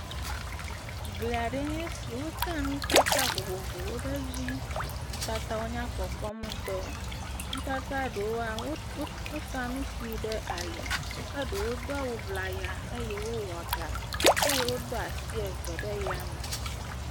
Gli aɖewoe nye esi. Wota nutata vovovowo ɖe edzi. Nutatawo nyakpɔkpɔm ŋutɔ. Nutata ɖewoa, wo, wosa nu kpui ɖe ali, ke ɖewo do awu ŋlaya eye wowɔ ɖa eye wodo asi eve ɖe yame